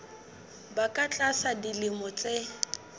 ba ka tlasa dilemo tse